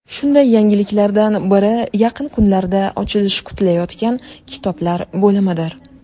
Shunday yangiliklardan biri yaqin kunlarda ochilishi kutilayotgan kitoblar bo‘limidir.